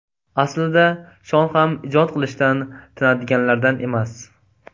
Aslida Shon ham ijod qilishdan tinadiganlardan emas.